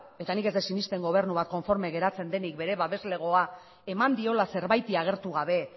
eta nik ez dut sinesten gobenu bat konformea geratzen denik bere babeslegoa eman diola zerbaiti agertu gabe